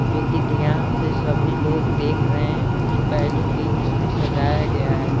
जो कि ध्यान से सभी लोग देख रहे हैं कुछ भी इसमें सजाया गया है ।